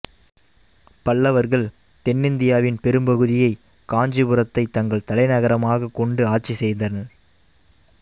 பல்லவர்கள் தென்னிந்தியாவின் பெரும்பகுதியை காஞ்சிபுரத்தை தங்கள் தலைநகரமாக கொண்டு ஆட்சி செய்தனர்